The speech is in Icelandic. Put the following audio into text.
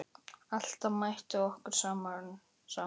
Alltaf mætti okkur sama hlýjan.